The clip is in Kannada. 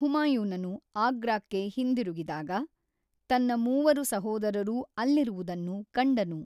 ಹುಮಾಯೂನನು ಆಗ್ರಾಕ್ಕೆ ಹಿಂದಿರುಗಿದಾಗ, ತನ್ನ ಮೂವರು ಸಹೋದರರೂ ಅಲ್ಲಿರುವುದನ್ನು ಕಂಡನು.